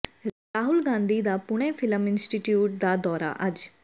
ਰਾਹੁਲ ਗਾਂਧੀ ਦਾ Pune film institute ਦਾ ਦੌਰਾ ਅੱਜ